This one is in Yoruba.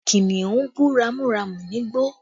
Kìnnìún bú ramúramù nígbó